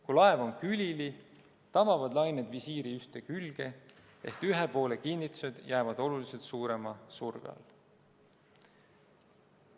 Kui laev on külili, tabavad lained visiiri ühte külge ehk ühe poole kinnitused jäävad oluliselt suurema surve alla.